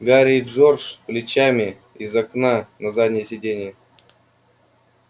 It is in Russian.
гарри и джордж плечами из окна на заднее сиденье